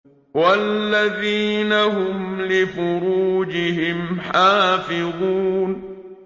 وَالَّذِينَ هُمْ لِفُرُوجِهِمْ حَافِظُونَ